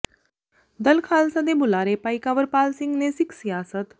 ਦਲ ਖ਼ਾਲਸਾ ਦੇ ਬੁਲਾਰੇ ਭਾਈ ਕੰਵਰਪਾਲ ਸਿੰਘ ਨੇ ਸਿੱਖ ਸਿਆਸਤ